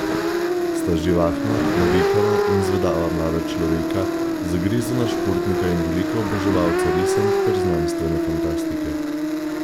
Sta živahna, navihana in zvedava mlada človeka, zagrizena športnika in velika oboževalca risank ter znanstvene fantastike.